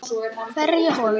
Hverja holu.